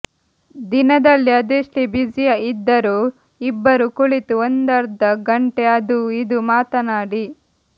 ದಿನದಲ್ಲಿ ಅದೆಷ್ಟೇ ಬ್ಯುಸಿ ಇದ್ದರೂ ಇಬ್ಬರೂ ಕುಳಿತು ಒಂದರ್ಧ ಗಂಟೆ ಅದೂ ಇದೂ ಮಾತನಾಡಿ